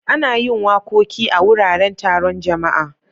Ana yin wakoki a wuraren taron jama'a.